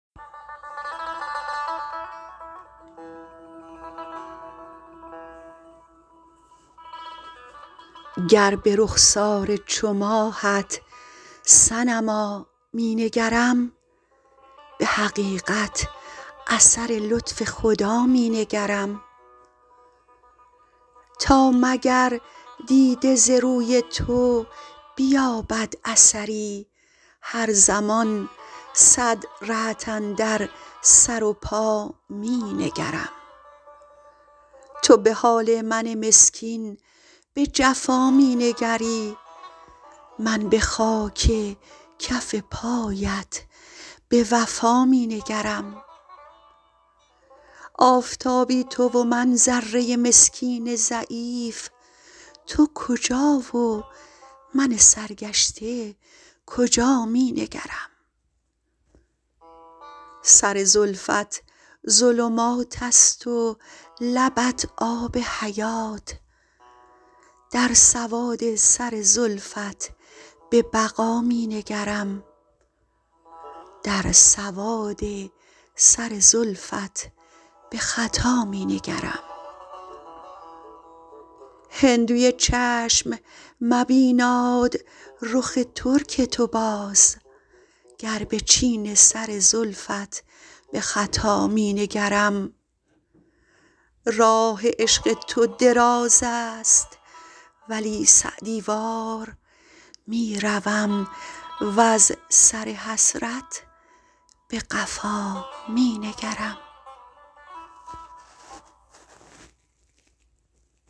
گر به رخسار چو ماهت صنما می نگرم به حقیقت اثر لطف خدا می نگرم تا مگر دیده ز روی تو بیابد اثری هر زمان صد رهت اندر سر و پا می نگرم تو به حال من مسکین به جفا می نگری من به خاک کف پایت به وفا می نگرم آفتابی تو و من ذره مسکین ضعیف تو کجا و من سرگشته کجا می نگرم سر زلفت ظلمات است و لبت آب حیات در سواد سر زلفت به خطا می نگرم هندوی چشم مبیناد رخ ترک تو باز گر به چین سر زلفت به خطا می نگرم راه عشق تو دراز است ولی سعدی وار می روم وز سر حسرت به قفا می نگرم